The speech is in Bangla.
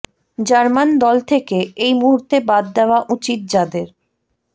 জার্মান দল থেকে এই মুহূর্তে বাদ দেওয়া উচিত যাঁদের